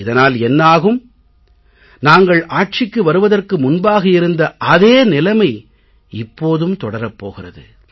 இதனால் என்ன ஆகும் நாங்கள் ஆட்சிக்கு வருவதற்கு முன்பாக இருந்த அதே நிலைமை இப்போதும் தொடரப் போகிறது